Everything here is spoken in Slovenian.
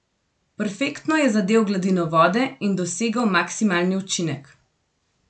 Perfektno je zadel gladino vode in dosegel maksimalni učinek.